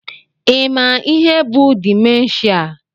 Ị ma ihe bụ dimenshia?